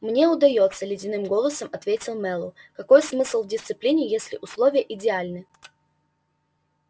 мне удаётся ледяным голосом ответил мэллоу какой смысл в дисциплине если условия идеальны